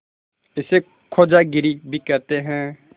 इसे खोजागिरी भी कहते हैं